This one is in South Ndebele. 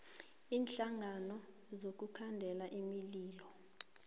iinhlangano zokukhandela imililo